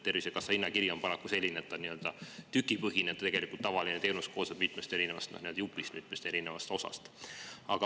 Tervisekassa hinnakiri on paraku nii-öelda tükipõhine, aga tegelikult koosneb teenus tavaliselt mitmest erinevast jupist, mitmest erinevast osast.